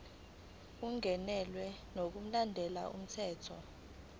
ungenelwe ngokulandela umthetho